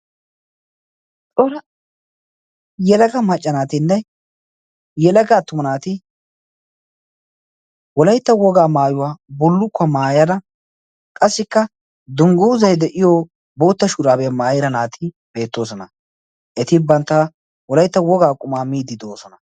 xora yelaga maccanaatinne yelagga attuma naati wolaytta wogaa maayuwaa bullukkuwaa maayada qassikka dungguuzai de'iyo bootta shuraabiyaa maayira naati beettoosona. eti bantta wolaytta wogaa qumaa miidi do'oosona.